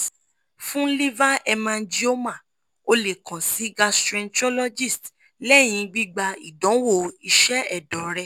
fun liver hemangioma o le kan si gastroenterologist lẹyin gbigba idanwo iṣẹ ẹdọ rẹ